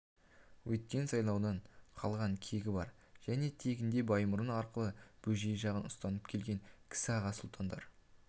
өткен сайлаудан қалған кегі бар және тегінде баймұрын арқылы бөжей жағын ұстанып келген кісі аға сұлтандар